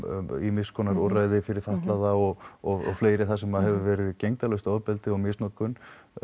ýmis konar úrræði fyrir fatlaða og og fleiri þar sem að hefur verið gegndarlaust ofbeldi og misnotkun